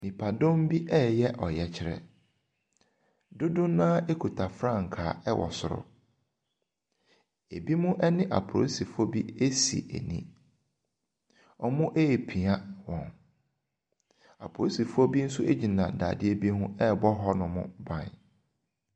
Nnipadɔm bi reyɛ ɔyɛkyerɛ. Dodoɔ no ara kuta frankaa wɔ soro. Ebinom ne apolisifo bi asi ani. Wɔrepia wɔn. Apolisifoɔ bin nso gyina dadeɛ bi ho rebɔ hɔnom ban.